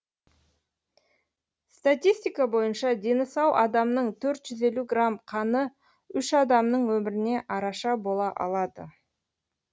статистика бойынша дені сау адамның төрт жүз елу грамм қаны үш адамның өміріне араша бола алады